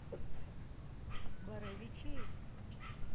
боровичей